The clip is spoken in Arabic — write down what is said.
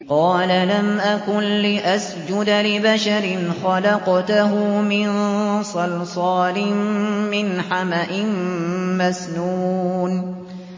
قَالَ لَمْ أَكُن لِّأَسْجُدَ لِبَشَرٍ خَلَقْتَهُ مِن صَلْصَالٍ مِّنْ حَمَإٍ مَّسْنُونٍ